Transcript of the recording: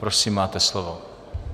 Prosím, máte slovo.